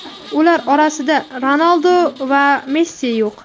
ular orasida Ronaldu va Messi yo‘q.